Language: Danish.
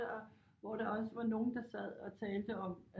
Hvor der også var nogen der sad og talte om